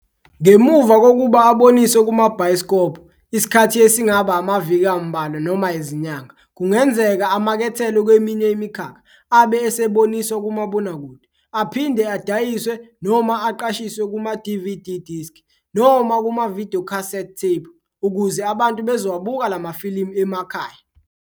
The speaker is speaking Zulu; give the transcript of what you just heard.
Ngemuva kokuba aboniswe kumabhayisikobhu isikhathi esingaba amaviki amubalwa noma izinyanga, kungenzeka amakethelwe kweminye imikhakha. Abe eseboniswa kumabonakude, aphinde adayiswe noma aqashiswe kuma"DVD disk" noma kuma"videocassette tape", ukuze abantu bezowabuka lamafilimu emakhaya.